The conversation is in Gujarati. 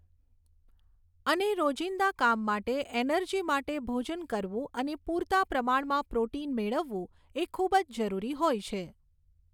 અને રોજિંદા કામ માટે ઍનર્જી માટે ભોજન કરવું અને પૂરતા પ્રમાણમાં પ્રોટિન મેળવવું એ ખૂબ જ જરૂરી હોય છે